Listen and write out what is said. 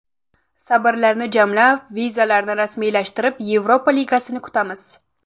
Sabrlarni jamlab, vizalarni rasmiylashtirib, Yevropa ligasini kutamiz”.